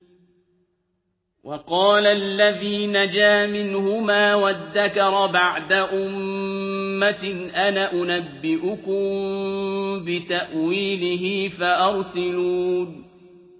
وَقَالَ الَّذِي نَجَا مِنْهُمَا وَادَّكَرَ بَعْدَ أُمَّةٍ أَنَا أُنَبِّئُكُم بِتَأْوِيلِهِ فَأَرْسِلُونِ